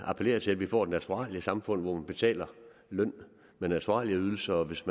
appellere til at vi får et naturaliesamfund hvor man betaler løn med naturalieydelser og hvis